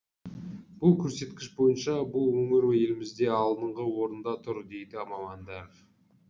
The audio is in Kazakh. бұл көрсеткіш бойынша бұл өңір елімізде алдынғы орында тұр дейді мамандар